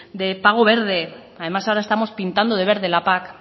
de pago verde además ahora estamos pintando de verde la pac